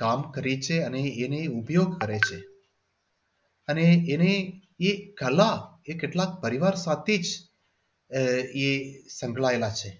કામ કરે છે અને એને ઉપયોગ કરે છે અને એ એ એ કળા કેટલા પરિવાર સાથે જ આહ એ સંકળાયેલા છે.